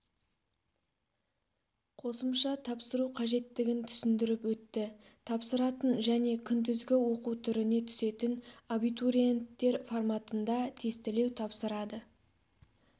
қосымша тапсыру қажеттігін түсіндіріп өтті тапсыратын және күндізгі оқу түріне түсетін абитуриенттер форматында тестілеу тапсырады